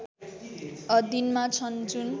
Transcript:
अधीनमा छन् जुन